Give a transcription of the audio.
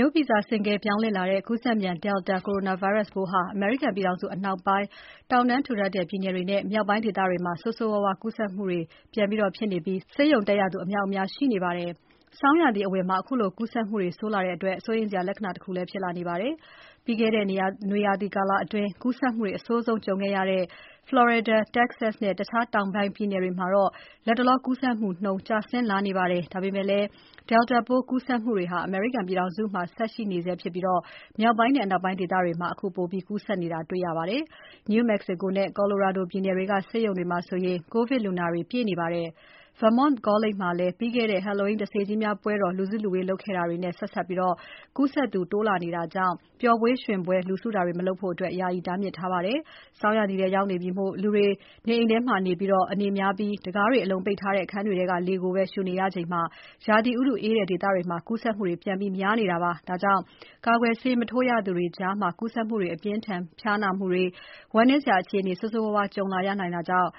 ိုးဗီဇ ဆင့်ကဲပြောင်းလဲလာတဲ့ ကူးစက်မြန် Delta ကိုရိုနာဗိုင်းရပ်စ်ပိုးဟာ အမေရိကန်ပြည်ထောင်စုအနောက်ပိုင်း တောင်တန်းထူထပ်တဲ့ ပြည်နယ်တွေနဲ့ မြောက်ပိုင်းဒေသတွေမှာ ဆိုးဆိုးရွားရွား ကူးစက်တာတွေ ကြုံနေရပြီး ဆေးရုံတက်ရသူ အမြောက်အများ ရှိနေပါတယ်။ ဆောင်းရာသီအဝင်မှာ ခုလို ကူးစက်မှုတွေဆိုးလာတာက စိုးရိမ်စရာလက္ခဏာတခုလည်း ဖြစ်လာနေပါတယ်။ ပြီးခဲ့တဲ့ နွေရာသီကာလအတွင်း ကူးစက်မှုတွေ အဆိုးဆုံး ကြုံခဲ့ရတဲ့ ဖလော်ရီဒါ၊ တက္ကဆက်စ်နဲ့ တခြား တောင်ပိုင်းပြည်နယ်တွေမှာတော့ လက်တလော ကူးစက်မှုနှုန်း ကျဆင်းလာနေပါတယ်။ ဒါပေမဲ့လည်း Delta ပိုး ကူးစက်မှုတွေ အမေရိကန်ပြည်ထောင်စုမှာ ဆက်ရှိနေဆဲဖြစ်ပြီး မြောက်ပိုင်းနဲ့ အနောက်ပိုင်းဒေသတွေမှာ ပိုပြီး ကူးစက်လာနေတာ ဖြစ်ပါတယ်။ New Mexico နဲ့ Colorado ပြည်နယ်တွေက ဆေးရုံတွေမှာ ကိုဗစ်လူနာတွေ ပြည့်နေပါတယ်။ Vermont ကောလိပ်ကျောင်းမှာတော့ ပြီးခဲ့တဲ့ Halloween တစ္တေကြီးများပွဲတော် လူစုလူဝေး လုပ်ခဲ့တာတွေနဲ့ ဆက်စပ်ပြီး ကူးစက်မှုတွေ တိုးလာတာကြောင့် ပျော်ပွဲရွှင်ပွဲ လူစုတာတွေမလုပ်ဖို့ ယာယီတားမြစ်ထားပါတယ်။ ဆောင်းရာသီထဲရောက်နေပြီမို့ လူတွေ နေအိမ်တွေထဲမှာပဲ အနေများပြီး တံခါးတွေအလုံပိတ်ထားတဲ့ အခန်းတွေထဲက လေကိုပဲ ရှူနေကြရချိန် ရာသီဥတုအေးတဲ့ ဒေသတွေမှာ ကူးစက်မှု များလာနေတာပါ။ ဒါကြောင့် ကာကွယ်ဆေး မထိုးရသေးတဲ့သူတွေကြားမှာ ကူးစက်မှုတွေ၊ အပြင်းအထန် ဖျားနာတာတွေ၊ ဝမ်းနည်းစရာအခြေအနေတွေ ဆိုးဆိုးရွားရွား ကြုံလာရနိုင်တဲ့အကြောင်